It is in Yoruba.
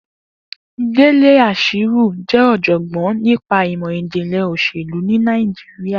Dele Ashiru jẹ́ ọ̀jọ̀gbọ́n nípa ìmọ̀ ìjìnlẹ̀ òṣèlú ní Nàìjíríà